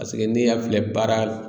n'i y'a filɛ baara